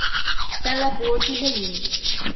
Vse lepo ti želim.